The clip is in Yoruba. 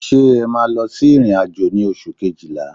Ṣé ẹ máa lọ sí ìrìn-àjò ní oṣù Kejìlá?